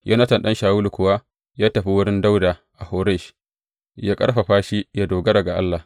Yonatan ɗan Shawulu kuwa ya tafi wurin Dawuda a Horesh, ya ƙarfafa shi yă dogara ga Allah.